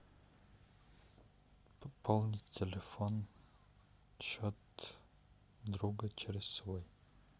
пополнить телефон счет друга через свой